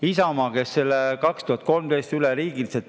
Isamaa tegi selle aastal 2013 üleriigiliselt.